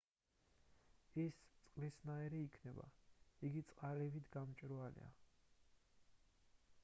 ის წყლისნაირი იქნება იგი წყალივით გამჭვირვალეა